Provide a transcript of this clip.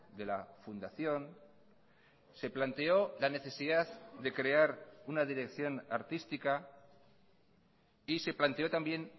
de la fundación se planteó la necesidad de crear una dirección artística y se planteó también